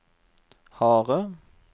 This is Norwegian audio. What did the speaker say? harde